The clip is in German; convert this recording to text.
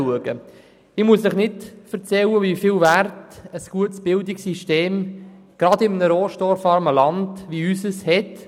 Ich muss Ihnen nicht erzählen, wie hoch der Stellenwert der Bildung gerade in einem rohstoffarmen Land wie dem Unseren ist.